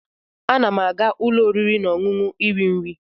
Ana m aga ụlọ oriri na ọṅụṅụ iri nri.